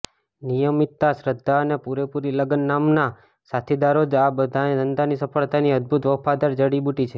નિયમિતતા શ્રધ્ધા અને પુરેપુરી લગન નામના સાથીદારો જ આ ધંધાની સફળતાની અદ્ભૂત વફાદાર જડીબુટી છે